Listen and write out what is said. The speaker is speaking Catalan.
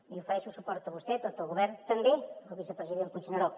li ofereixo suport a vostè a tot el govern també al vicepresident puigneró